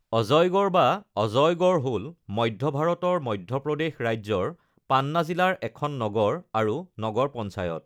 অজইগড় বা অজয়গড় হ'ল মধ্য ভাৰতৰ মধ্য প্ৰদেশ ৰাজ্যৰ পান্না জিলাৰ এখন নগৰ আৰু নগৰ পঞ্চায়ত।